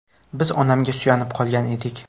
Biz onamga suyanib qolgan edik.